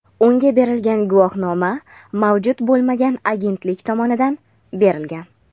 unga berilgan guvohnoma mavjud bo‘lmagan agentlik tomonidan berilgan.